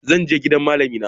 Zan je gaida malamina.